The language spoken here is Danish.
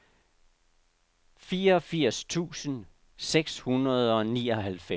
femogfirs tusind seks hundrede og nioghalvfems